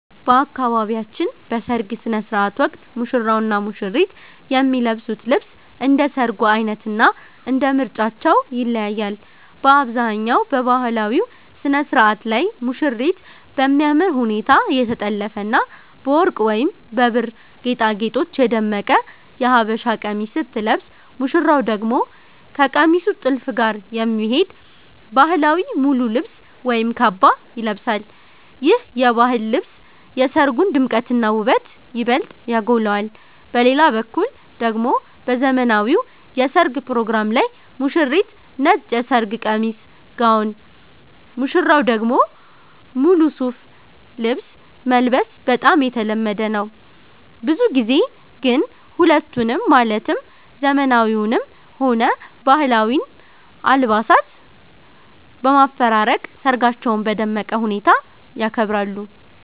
በአካባቢያችን በሰርግ ሥነ ሥርዓት ወቅት ሙሽራውና ሙሽሪት የሚለብሱት ልብስ እንደ ሰርጉ ዓይነትና እንደ ምርጫቸው ይለያያል። በአብዛኛው በባህላዊው ሥነ ሥርዓት ላይ ሙሽሪት በሚያምር ሁኔታ የተጠለፈና በወርቅ ወይም በብር ጌጣጌጦች የደመቀ የሀበሻ ቀሚስ ስትለብስ፣ ሙሽራው ደግሞ ከቀሚሱ ጥልፍ ጋር የሚሄድ ባህላዊ ሙሉ ልብስ ወይም ካባ ይለብሳል። ይህ የባህል ልብስ የሰርጉን ድምቀትና ውበት ይበልጥ ያጎላዋል። በሌላ በኩል ደግሞ በዘመናዊው የሠርግ ፕሮግራም ላይ ሙሽሪት ነጭ የሰርግ ቀሚስ (ጋውን)፣ ሙሽራው ደግሞ ሙሉ ሱፍ ልብስ መልበስ በጣም የተለመደ ነው። ብዙ ጊዜ ግን ሁለቱንም ማለትም ዘመናዊውንም ሆነ ባህላዊውን አልባሳት በማፈራረቅ ሰርጋቸውን በደመቀ ሁኔታ ያከብራሉ።